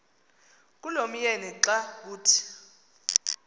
kulomyeni xa kuthi